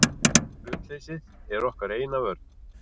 Hlutleysið er okkar eina vörn.